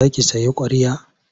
Za ki sayi ƙwarya?